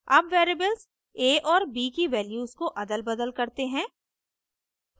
अब variables a और b की वैल्यूज को अदलबदल करते हैं